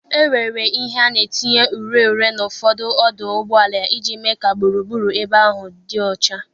E nwere ihe a na etinye ure ure n'ụfọdụ ọdụ ụgbọala iji mee ka gburugburu ebe ahụ dị ọcha.